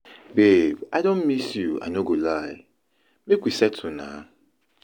Babe I don miss you I no go lie, make we settle na